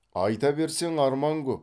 айта берсең арман көп